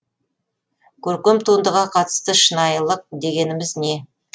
көркем туындыға қатысты шынайлық дегеніміз не